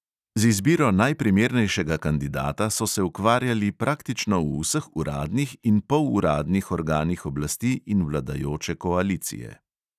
Z izbiro najprimernejšega kandidata so se ukvarjali praktično v vseh uradnih in poluradnih organih oblasti in vladajoče koalicije.